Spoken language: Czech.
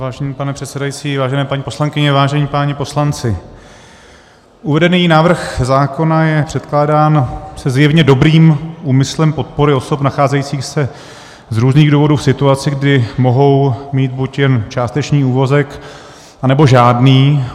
Vážený pane předsedající, vážené paní poslankyně, vážení páni poslanci, uvedený návrh zákona je předkládán se zjevně dobrým úmyslem podpory osob nacházejících se z různých důvodů v situaci, kdy mohou mít buď jen částečný úvazek, anebo žádný.